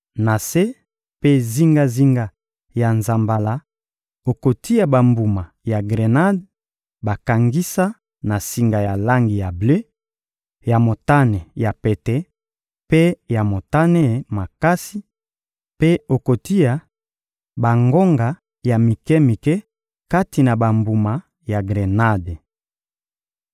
Na se mpe zingazinga ya nzambala, okotia bambuma ya grenade bakangisa na singa ya langi ya ble, ya motane ya pete mpe ya motane makasi; mpe okotia bangonga ya mike-mike kati na bambuma ya grenade.